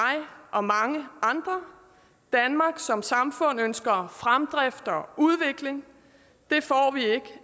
og mange andre danmark som samfund ønsker fremdrift og udvikling